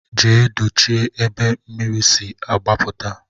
Jee dochie ebe mmiri si agbaputa.